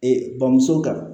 Ee bamuso kan